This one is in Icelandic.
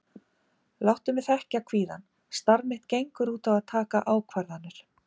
Láttu mig þekkja kvíðann, starf mitt gengur út á að taka ákvarðanir.